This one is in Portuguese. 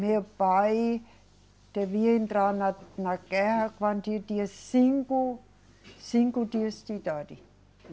Meu pai devia entrar na, na guerra quando eu tinha cinco, cinco dias de idade